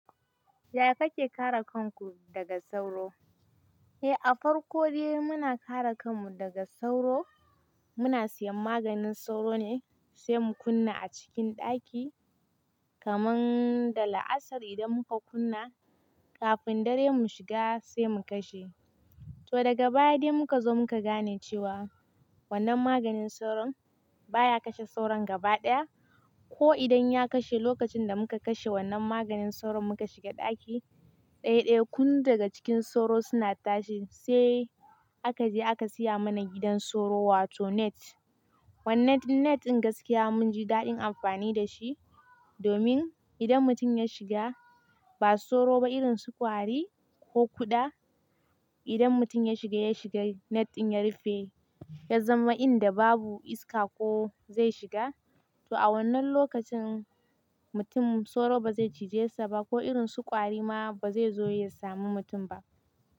Yaya kake kare kanku daga sauro? Eh, a farko dai muna kare kanmu daga sauro, muna siyan maganin sauro ne sai mu kunna a cikin ɗaki. Kaman da la'asar idan muka kunna, kafin dare mu shiga sai mu kashe. To daga baya dai muka zo muka gane cewa wannan maganin sauro baya kashe sauran gaba ɗaya. Ko idan ya kashe lokacin da muka kashe wannan maganin sauro muka shiga ɗaki, ɗaya ɗaya kun daga cikin sauro suna tashi. Sai aka je aka saya mana gidan sauro wato net. Wannan net din gaskiya munji daɗin amfani da shi. Domin idan mutum ya shiga ba sauro ba irin sukwari ko kuɗa, idan mutum ya shiga, ya shiga net din ya rufe, ya zama inda babu iska ko zai shiga. To a wannan lokacin mutum sauro bazai cije sa ba ko irin sukwari ma bazai zo ya samu mutum ba.